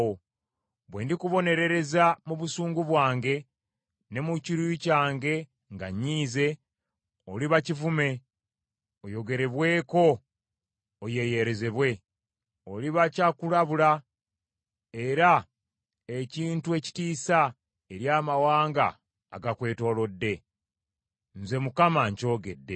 Bwe ndikubonerereza mu busungu bwange, ne mu kiruyi kyange nga nnyiize, oliba kivume, oyogerebweko oyeeyerezebwe. Oliba kyakulabula era ekintu ekitiisa eri amawanga agakwetoolodde. Nze Mukama nkyogedde.